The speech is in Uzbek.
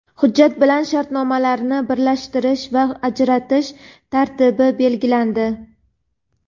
Hujjat bilan shartnomalarni birlashtirish va ajratish tartibi belgilandi.